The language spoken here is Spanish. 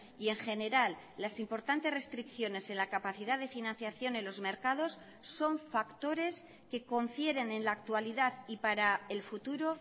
y en general las importantes restricciones en la capacidad de financiación en los mercados son factores que confieren en la actualidad y para el futuro